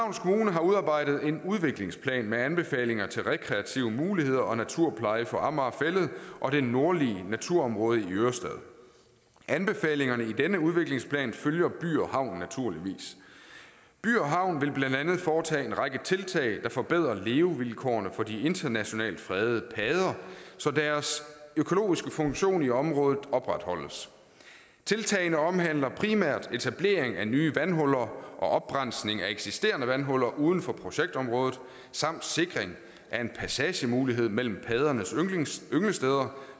har udarbejdet en udviklingsplan med anbefalinger til rekreative muligheder og naturpleje for amager fælled og det nordlige naturområde i ørestaden anbefalingerne i denne udviklingsplan følger by havn naturligvis by havn vil blandt andet foretage en række tiltag der forbedrer levevilkårene for de internationalt fredede padder så deres økologiske funktion i området opretholdes tiltagene omhandler primært etablering af nye vandhuller og oprensning af eksisterende vandhuller uden for projektområdet samt sikring af en passagemulighed mellem paddernes ynglesteder